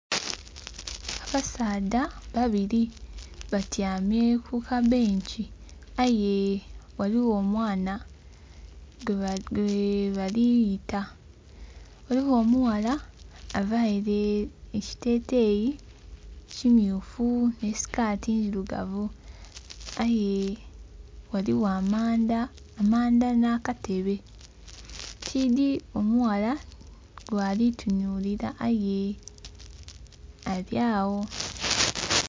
Abasaadha babiri batyamye ku kabenki aye ghaligho omwana gwe bali yeta, ghaligho omughala aveire ekiteteyi kimyufu ni sikati ndhirugavu aye ghalihho amanda na katebe tidhi omughala gwalitunulira aye alyagho.